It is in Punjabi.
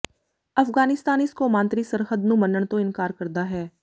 ਅਫ਼ਗਾਨਿਸਤਾਨ ਇਸ ਕੌਮਾਂਤਰੀ ਸਰਹੱਦ ਨੂੰ ਮੰਨਣ ਤੋਂ ਇਨਕਾਰ ਕਰਦਾ ਹੈ